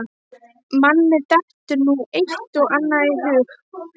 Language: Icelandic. Manni dettur nú eitt og annað í hug.